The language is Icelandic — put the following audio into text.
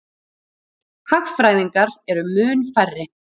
Hagfræðingar eru mun færri.